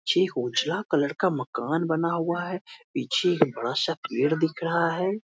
Colour का मकान बना हुआ है पीछे एक बड़ा सा पेड़ दिख रहा है।